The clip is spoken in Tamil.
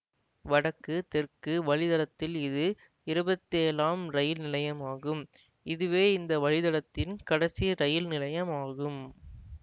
வடக்கு தெற்கு வழித்தடத்தில் இது இருபத்தேழாம் ரயில் நிலையமாகும் இதுவே இந்த வழித்தடத்தின் கடைசி ரயில் நிலையமாகும்